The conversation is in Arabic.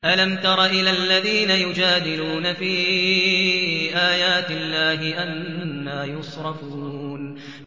أَلَمْ تَرَ إِلَى الَّذِينَ يُجَادِلُونَ فِي آيَاتِ اللَّهِ أَنَّىٰ يُصْرَفُونَ